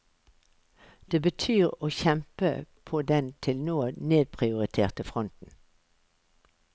Det betyr å kjempe på den til nå nedprioriterte fronten.